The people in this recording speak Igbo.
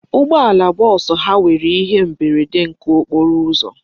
Ụgbọala bọọsụ ha o nwere ihe mberede nke okporo ụzọ?